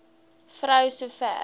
vrou so ver